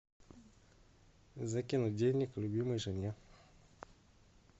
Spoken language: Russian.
закинуть денег любимой жене